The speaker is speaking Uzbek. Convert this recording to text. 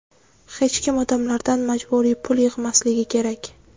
Hech kim odamlardan majburiy pul yig‘masligi kerak.